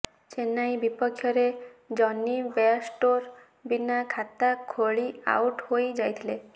ଚେନ୍ନାଇ ବିପକ୍ଷରେ Jonny Bairstow ବିନା ଖାତା ଖୋଳି ଆଉଟ ହୋଇ ଯାଇଥିଲେ